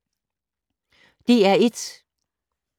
DR1